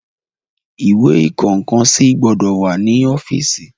Ìwé ìkọ nǹkan sí gbọ́dọ̀ wà ní ọ́fíìsì.